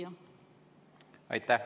Aitäh!